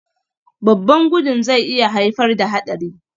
Babban gudun zai iya haifar da haɗari